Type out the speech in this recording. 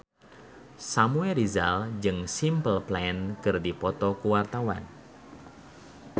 Samuel Rizal jeung Simple Plan keur dipoto ku wartawan